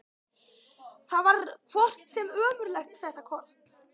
Það var hvort sem er ómögulegt þetta kort.